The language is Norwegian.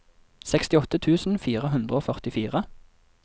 sekstiåtte tusen fire hundre og førtifire